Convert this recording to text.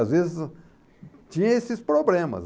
Às vezes, tinha esses problemas.